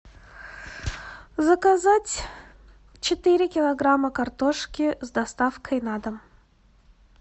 заказать четыре килограмма картошки с доставкой на дом